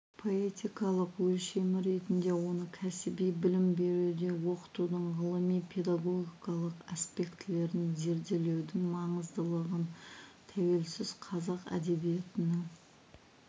поэтикалық өлшемі ретінде оны кәсіби білім беруде оқытудың ғылыми педагогикалық аспектілерін зерделеудің маңыздылығы тәуелсіз қазақ әдебиетінің